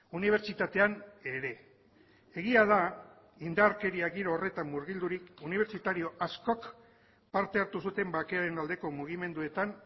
unibertsitatean ere egia da indarkeria giro horretan murgildurik unibertsitario askok parte hartu zuten bakearen aldeko mugimenduetan